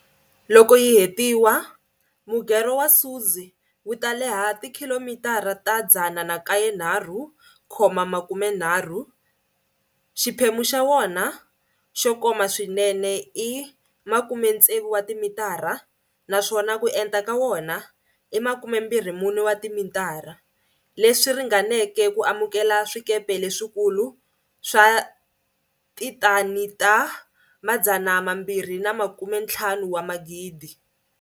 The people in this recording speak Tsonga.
Loko yi hetiwa, Mugerho wa Suez wu ta leha tikhilomitara ta 193,30, xiphemu xa wona xo koma swinene i 60 m, naswona ku enta ka wona i 24 wa timitara, leswi ringaneke ku amukela swikepe leswikulu swa tithani ta 250 000.